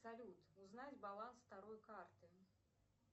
салют узнать баланс второй карты